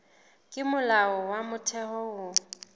ke molao wa motheo ho